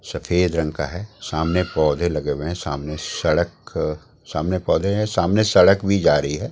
सफेद रंग का है सामने पौधे लगे हुए हैं सामने सड़क सामने पौधे हैं सामने सड़क भी जा रही है।